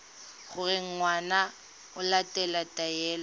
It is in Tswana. gore ngwana o latela taelo